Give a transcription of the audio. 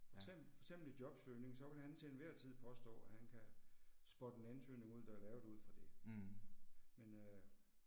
Eksempel, for eksempel i jobsøgning så vil han til enhver tid påstå at han kan spotte en ansøgning ud der er lavet ud fra det. Men øh